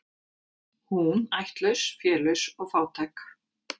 Hún ættlaus, félaus og fátæk.